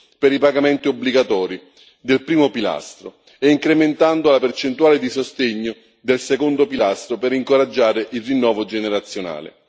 per i pagamenti obbligatori del primo pilastro, e incrementando la percentuale di sostegno del secondo pilastro per incoraggiare il rinnovo generazionale.